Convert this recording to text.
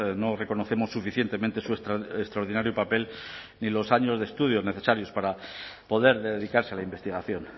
no reconocemos suficientemente su extraordinario papel ni los años de estudios necesarios para poder dedicarse a la investigación